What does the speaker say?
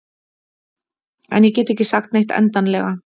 En ég get ekki sagt neitt endanlega.